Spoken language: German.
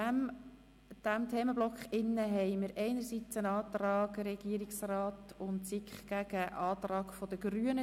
In diesem Themenblock gibt es einerseits einen Antrag Regierungsrat/SiK gegen einen Antrag der Grünen.